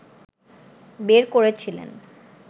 বের করেছিলেন